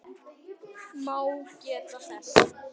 má geta þess